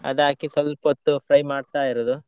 ಅದು ಹಾಕಿ ಸ್ವಲ್ಪ ಹೊತ್ತು fry ಮಾಡ್ತಾ ಇರೋದು.